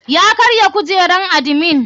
Ya karya kujeran admin.